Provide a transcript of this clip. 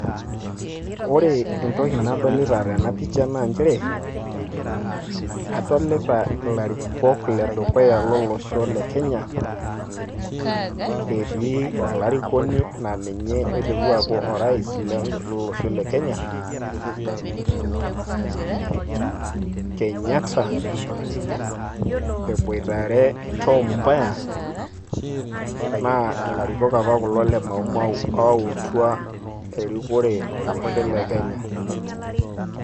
Ore entoki nadolita tena picha naa njere, kadolita ilarikok ledukuya lolosho le Kenya, etii olarikoni na ninye oiterua aaku o rais lele osho le Kenya, Kenyatta, eboitare Tom Mboya, naa ilarikok apa kulo le Maumau oautua erikore olosho olosho le Kenya.